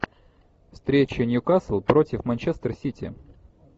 встреча ньюкасл против манчестер сити